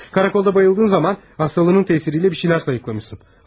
Qarakolda huşunu itirdiyin zaman, xəstəliyinin təsiriylə bir şeylər sayıqlamısan.